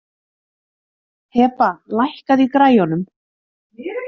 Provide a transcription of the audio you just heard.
Hebba, lækkaðu í græjunum.